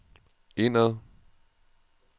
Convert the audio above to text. indad